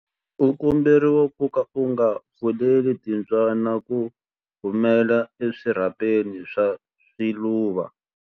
U komberiwa ku ka u nga pfumeleli timbyana ku humela eswirhapeni swa swiluva.